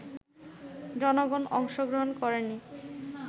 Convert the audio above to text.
জনগণ অংশগ্রহণ করেনি